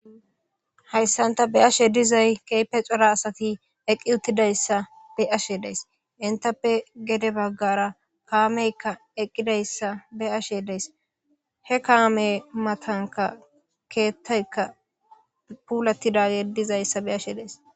hayssanta be'ashe dizay keehipe xora asati eqqi uttidayssa be ashe deys intappe gede baggara kaameykka eqqidayssa be ashe dees he kaame matanka keettaykka puulatidage dizayssa be ashe dees